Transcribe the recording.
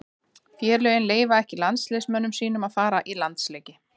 Félögin leyfa ekki landsliðsmönnum sínum að fara í landsleiki.